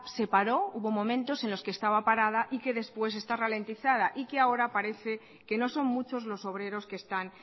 se paró hubo momentos en los que estaba parada y que después está ralentizada y que ahora parece que no son muchos los obreros que están